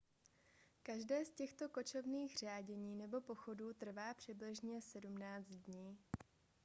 každé z těchto kočovných řádění nebo pochodů trvá přibližně 17 dní